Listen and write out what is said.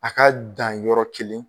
A ka dan yɔrɔ kelen